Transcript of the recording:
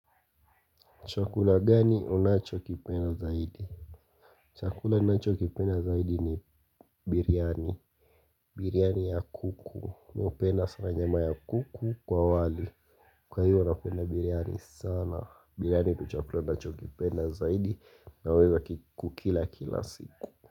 Chakula gani unachokipenda zaidi? Chakula unacho kipena zaidi ni biryani. Biryani ya kuku. Mi upenda sana nyama ya kuku kwa wali. Kwa ivo napenda biriani sana. Biryani ndo chakula ninachokipenda zaidi. Naweza kukila kila siku.